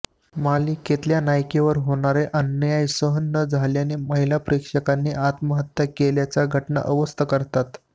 मालिकेतल्या नायिकेवर होणारा अन्याय सहन न झाल्याने महिला प्रेक्षकाने आत्महत्या केल्याच्या घटना अवस्थ करतात